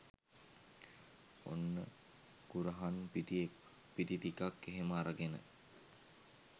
ඔන්න කුරහන් පිටි ටිකක් එහෙම අරගෙන